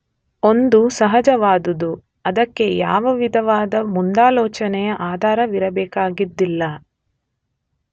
ಒಂದು ಸಹಜವಾದುದು; ಅದಕ್ಕೆ ಯಾವ ವಿಧವಾದ ಮುಂದಾಲೋಚನೆಯ ಆಧಾರವಿರಬೇಕಾಗಿದ್ದಿಲ್ಲ.